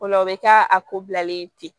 O la o bɛ kɛ a ko bilalen tɛ